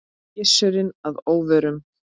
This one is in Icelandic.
Gissuri að óvörum.